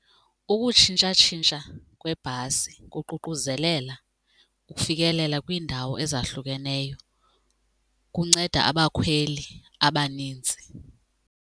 Ukutshintshatshintsha kwebhasi kuququzelela ukufikelela kwiindawo ezahlukeneyo kunceda abakhweli abanintsi.